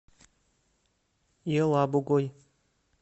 елабугой